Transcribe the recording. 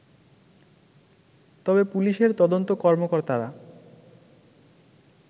তবে পুলিশের তদন্ত কর্মকর্তারা